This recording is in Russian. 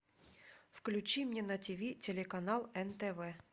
включи мне на ти ви телеканал нтв